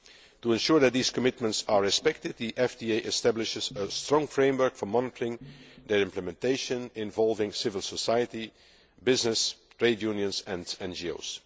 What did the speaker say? To ensure that these commitments are respected, the FTA establishes a strong framework for monitoring their implementation, involving civil society, business, trade unions and NGOs.